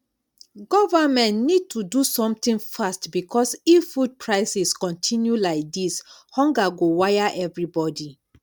government need to do something fast because if food prices continue like this hunger go wire everybody